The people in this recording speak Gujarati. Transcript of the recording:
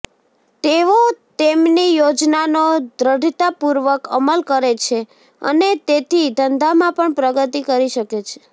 તેઓ તેમની યોજનાનો દ્રઢતાપૂર્વક અમલ કરે છે અને તેથી ધંધામાં પણ પ્રગતિ કરી શકે છે